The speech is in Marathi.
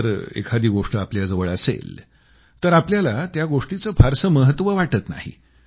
जर एखादी गोष्ट आपल्याजवळ असेल तर आपल्याला त्या गोष्टीचं फारसं महत्त्व वाटत नाही